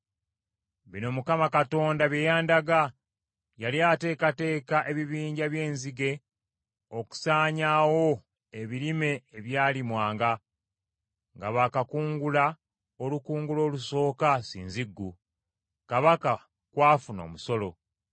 Bino Mukama Katonda bye yandaga. Yali ateekateeka ebibinja by’enzige okusaanyaawo ebirime ebyalimwanga, nga baakakungula olukungula olusooka ssinziggu, kabaka kw’afuna omusolo.